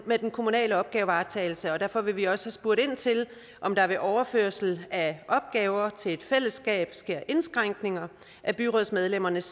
med den kommunale opgavevaretagelse og derfor vil vi også spørge ind til om der ved overførsel af opgaver til et fællesskab sker indskrænkninger af byrådsmedlemmernes